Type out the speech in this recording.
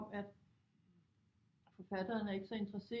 Om at forfatterne er ikke så interesserede